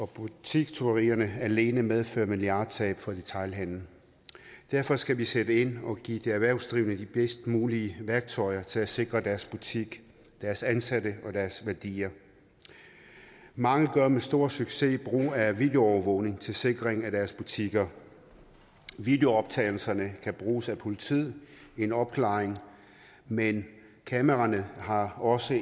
butikstyverier alene medfører milliardtab for detailhandelen derfor skal vi sætte ind og give de erhvervsdrivende de bedst mulige værktøjer til at sikre deres butikker deres ansatte og deres værdier mange gør med stor succes brug af videoovervågning til sikring af deres butikker videooptagelserne kan bruges af politiet i en opklaring men kameraerne har også